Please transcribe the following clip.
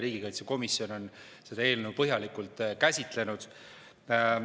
Riigikaitsekomisjon on seda eelnõu põhjalikult käsitlenud.